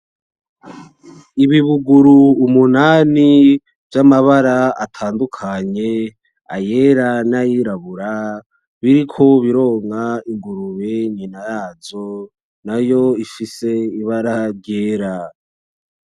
Ibibuguru umunanani, vy'amabara atandukanye , ayera n'ayirabura, biriko bironka ingurube nyina wavyo, nayo ifise ibara ryera.